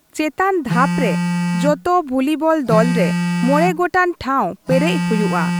ᱪᱮᱛᱟᱱ ᱫᱷᱟᱯ ᱨᱮ ᱡᱚᱛᱚ ᱵᱷᱩᱞᱤᱵᱚᱞ ᱫᱚᱞ ᱨᱮ ᱢᱚᱬᱮ ᱜᱚᱴᱟᱝ ᱴᱷᱟᱶ ᱯᱮᱨᱮᱡ ᱦᱩᱭᱩᱜᱼᱟ ᱾